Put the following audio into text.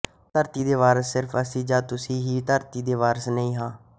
ਧਰਤੀ ਦੇ ਵਾਰਸ ਸਿਰਫ ਅਸੀਂ ਜਾਂ ਤੁਸੀਂ ਹੀ ਧਰਤੀ ਦੇ ਵਾਰਸ ਨਹੀਂ ਹਾਂ